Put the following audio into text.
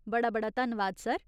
बड़ा बड़ा धन्नवाद, सर।